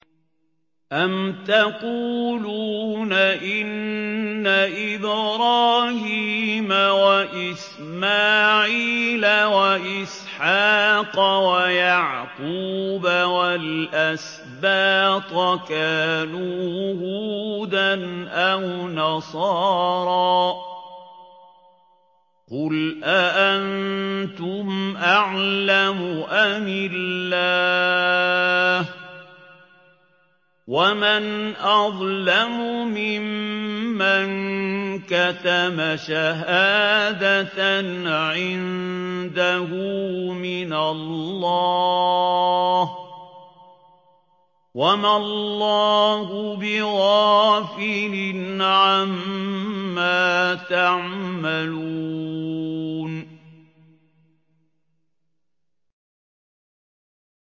أَمْ تَقُولُونَ إِنَّ إِبْرَاهِيمَ وَإِسْمَاعِيلَ وَإِسْحَاقَ وَيَعْقُوبَ وَالْأَسْبَاطَ كَانُوا هُودًا أَوْ نَصَارَىٰ ۗ قُلْ أَأَنتُمْ أَعْلَمُ أَمِ اللَّهُ ۗ وَمَنْ أَظْلَمُ مِمَّن كَتَمَ شَهَادَةً عِندَهُ مِنَ اللَّهِ ۗ وَمَا اللَّهُ بِغَافِلٍ عَمَّا تَعْمَلُونَ